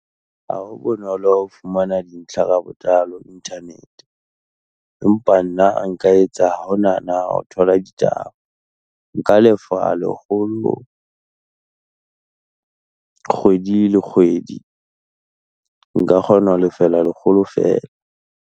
Ha ho bonolo ho fumana dintlha ka botlalo internet-e. Empa nna nka etsa ha ho na na ho thola ditaba, nka lefa lekgolo kgwedi le kgwedi, nka kgona ho lefella lekgolo feela.